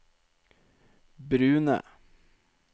brune